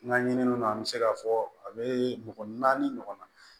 N ka ɲininiw na an bɛ se k'a fɔ a bɛ mɔgɔ naani ɲɔgɔnna